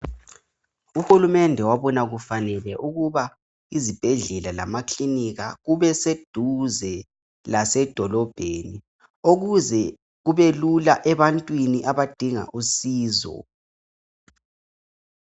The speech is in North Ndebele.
u hulumende wabona kufanele ukuba izibhedlela lamakilinika kube seduze lasedolobheni ukuze kubelula ebantwini abadinga usizo